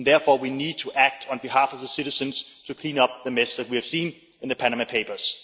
Therefore, we need to act on behalf of the citizens to clean up the mess that we have seen in the Panama Papers.